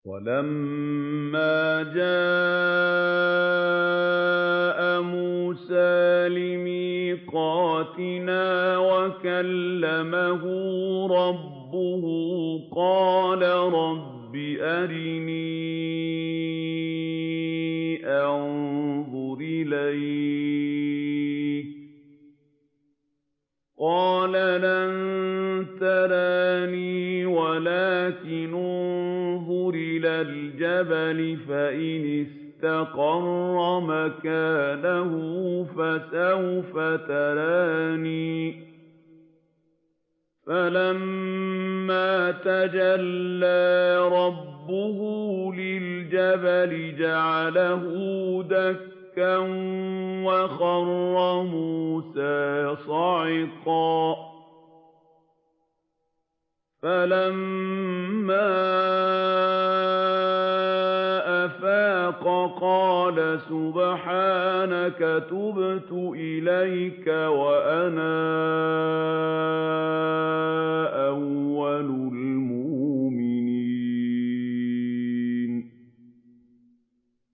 وَلَمَّا جَاءَ مُوسَىٰ لِمِيقَاتِنَا وَكَلَّمَهُ رَبُّهُ قَالَ رَبِّ أَرِنِي أَنظُرْ إِلَيْكَ ۚ قَالَ لَن تَرَانِي وَلَٰكِنِ انظُرْ إِلَى الْجَبَلِ فَإِنِ اسْتَقَرَّ مَكَانَهُ فَسَوْفَ تَرَانِي ۚ فَلَمَّا تَجَلَّىٰ رَبُّهُ لِلْجَبَلِ جَعَلَهُ دَكًّا وَخَرَّ مُوسَىٰ صَعِقًا ۚ فَلَمَّا أَفَاقَ قَالَ سُبْحَانَكَ تُبْتُ إِلَيْكَ وَأَنَا أَوَّلُ الْمُؤْمِنِينَ